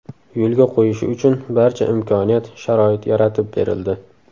yo‘lga qo‘yishi uchun barcha imkoniyat-sharoit yaratib berildi.